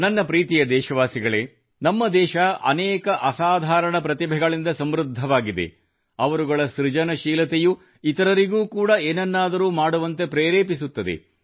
ನನ್ನ ಪ್ರೀತಿಯ ದೇಶಾಸಿಗಳೇ ನಮ್ಮ ದೇಶ ಅನೇಕ ಅಸಾಧಾರಣ ಪ್ರತಿಭೆಗಳಿಂದ ಸಮೃದ್ಧವಾಗಿದೆ ಅವರುಗಳ ಸೃಜನಶೀಲತೆಯು ಇತರರಿಗೂ ಕೂಡಾ ಏನನ್ನಾದರೂ ಮಾಡುವಂತೆ ಪ್ರೇರೇಪಿಸುತ್ತದೆ